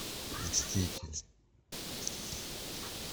мститель